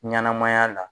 Ɲɛnɛmaya la